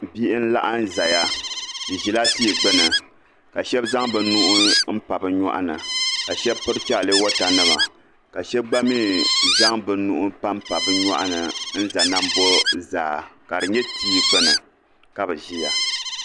Biɣi n-laɣim n-zaya bɛ ʒila tii gbuni ka shab' zaŋ bɛ nuhi m-pa bɛ nyɔɣ' ni ka shɛb' piri chalawatanima ka shɛba gba mi zaŋ bɛ nuhi m-pam pa bɛ nyɔɣ' ni n-za nambo zaa ka di nye tia gbuni ka bɛ ʒia